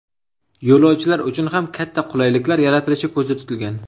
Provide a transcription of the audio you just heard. Yo‘lovchilar uchun ham katta qulayliklar yaratilishi ko‘zda tutilgan.